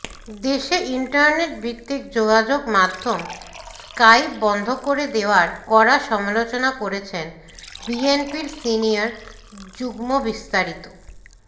দেশে ইন্টারনেট ভিত্তিক যোগাযোগ মাধ্যম স্কাইপ বন্ধ করে দেওয়ার কড়া সমালোচনা করেছেন বিএনপির সিনিয়র যুগ্মবিস্তারিত